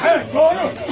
Bəli, doğru.